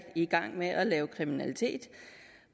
i gang med at lave kriminalitet